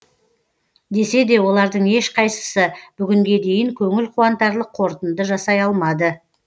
десе де олардың ешқайсысы бүгінге дейін көңіл қуантарлық қорытынды жасай алмады